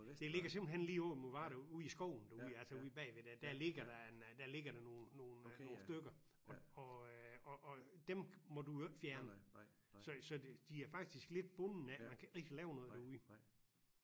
Det ligger simpelthen lige over mod Varde ude i skoven derude altså ude bagved der der ligger der en der ligger der nogle nogle nogle stykker og og dem må du jo ikke fjerne så det de er faktisk lidt bundne af man kan ikke rigtig lave noget derude